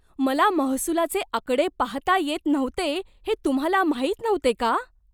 मला महसुलाचे आकडे पाहता येत नव्हते हे तुम्हाला माहीत नव्हते का?